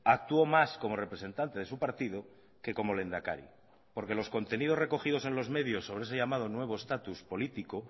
actuó más como representante de su partido que como lehendakari porque los contenidos recogidos en los medios sobre ese llamado nuevo estatus político